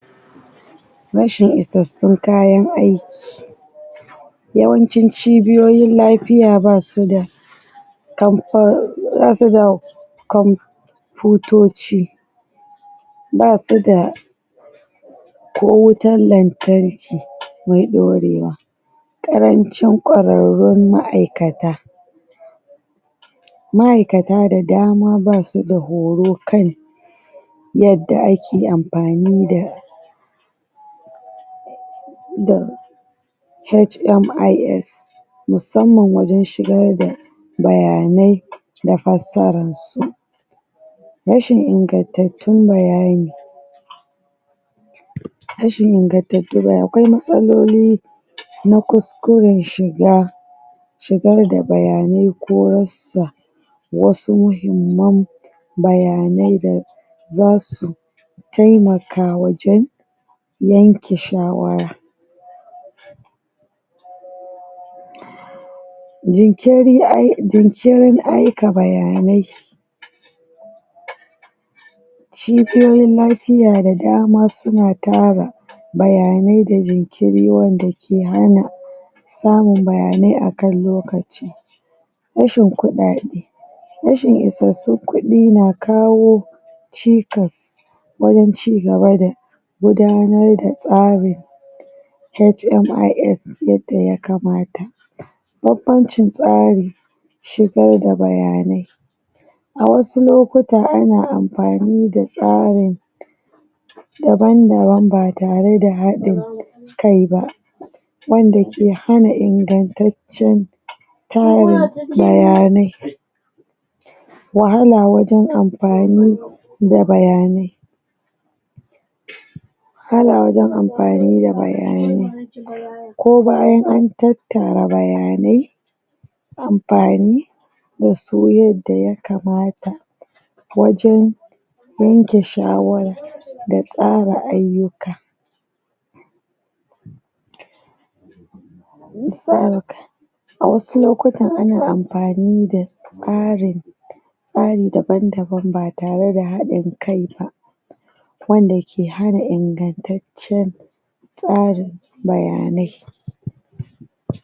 Rashin isassun kayan aiki yawancin cibiyoyin lafiya ba su da kan kan ba su da kwamfiyutoci ba su da ko wutar lantarki mai ɗorewa ƙarancin ƙwararun ma'aikat ma'aikata da dama ba su da horo kan yadda ake amfani da da HIMS musamman wajen shigar da bayanai da fassara su rashin ingantattun bayani rashin ingantatun bayani akwai matsaloli na kuskuren shigar da bayani ko rasa wasu muhimman bayanai da za su taimaka wajen yanke shawara jinkirin ai jinkirin aika bayanai cibiyoyin lafiya da dama suna tara bayanai da jinkiri wanda ke hana samun bayanai a kan lokaci rashin kuɗaɗe rashin isassun kuɗi na kawao cikas wajen ci gaba da gudanar da tsari HMIS yadda ya kamata banbancin tsarin shigar da bayanai a wasu lokuta an amfani da tsarin daban-dabam ba tare da haɗin kai ba wanda ke hana ingantaccen tarin bayanai wahala wajen amfani da bayanai wahala wajen amfani da bayanai ko bayan an tattara bayanai amfani da su yadda ya kamata wajen yanke shawara da tsara ayyuka a wasu lokutan ana amfani da tsarin tsari dabandabam ba tare da haɗin kai ba wanda ke hana ingantaccen tsarin bayanai